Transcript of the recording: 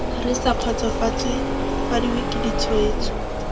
re sa kgotsofadiwe ke ditshwetso